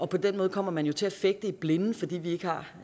på den måde kommer man jo til at fægte i blinde fordi vi ikke har